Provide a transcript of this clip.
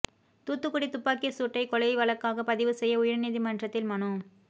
தூத்துக்குடி துப்பாக்கிச் சூட்டை கொலை வழக்காக பதிவு செய்ய உயர்நீதி மன்றத்தில் மனு